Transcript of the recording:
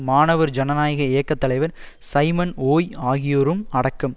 மாணவர் ஜனநாயக இயக்க தலைவர் சைமன் ஓய் ஆகியோரும் அடக்கம்